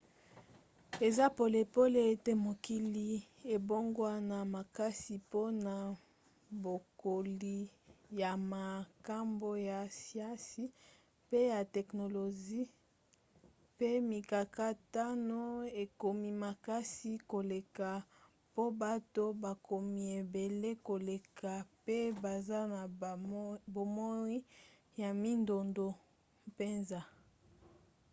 eza polele ete mokili ebongwana makasi mpona bokoli ya makambo ya siansi pe ya teknolozi mpe mikakatano ekomi makasi koleka po bato bakomi ebele koleka mpe baza na bomoi ya mindondo mpenza